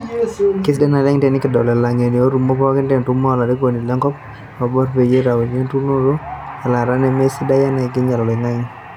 Kesidai naleng tenikidol ilangeni etumo pookin te ntumo olarikoni le nkop o loibor ejo peitauni enturunoto eilata nemesidai amu keinyal oloingange.